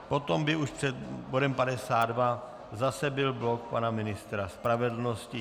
Potom by už před bodem 52 zase byl blok pana ministra spravedlnosti.